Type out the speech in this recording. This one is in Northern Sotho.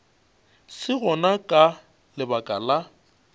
se gona ka lebaka la